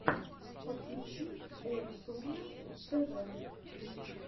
подключи оусомнесс тэ вэ